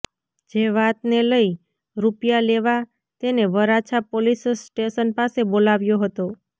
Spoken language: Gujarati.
જે વાત ને લઈ રૂપિયા લેવા તેને વરાછા પોલીસ સ્ટેશન પાસે બોલાવ્યો હતો